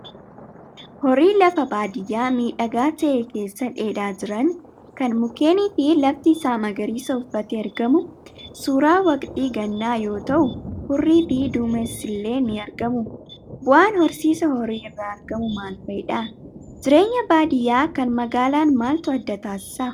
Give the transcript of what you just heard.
Horii lafa baadiyaa miidhagaa ta'e keessa dheedaa jiran, kan mukeenii fi lafti isaa magariisa uffatee argamu. Suuraa waqtii gannaa yoo ta'u, hurrii fi duumessillee ni argamu. Bu'aan horsiisa horii irraa argamu maal fa'idha? Jireenya baadiyaa kan magaalaan maaltu adda taasisa?